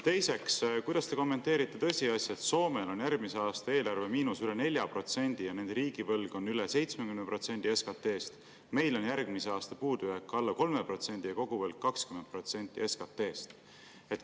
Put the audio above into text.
Teiseks: kuidas te kommenteerite tõsiasja, et Soomel on järgmise aasta eelarve miinus üle 4% ja riigivõlg üle 70% SKT-st, meil on järgmise aasta puudujääk alla 3% ja koguvõlg 20% SKT-st?